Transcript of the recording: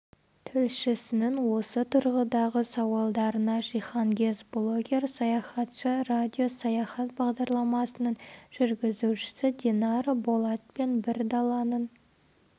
тілшісінің осы тұрғыдағы сауалдарына жиһангез блогер саяхатшы радио саяхат бағдарламасының жүргізушісі динара болат пен бір даланың